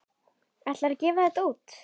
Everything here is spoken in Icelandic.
Ætlarðu að gefa þetta út?